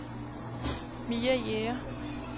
Mia Jæger